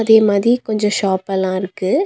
இதே மாதி கொஞ்ச ஷாப் எல்லா இருக்கு.